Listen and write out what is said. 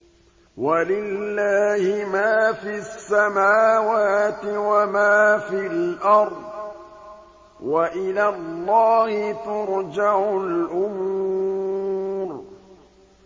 وَلِلَّهِ مَا فِي السَّمَاوَاتِ وَمَا فِي الْأَرْضِ ۚ وَإِلَى اللَّهِ تُرْجَعُ الْأُمُورُ